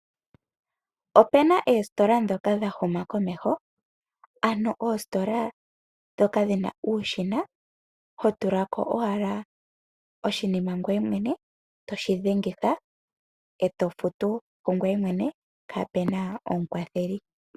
Opuna oositola dhoka dhahuma komeho, ano oositola dhoka dhina uushina ho tukako owala oshinima ngweye mwene eto shi dhengitha, eto futu kungoye mwene kaapuna omukwatheli.